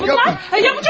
Ya bunlar?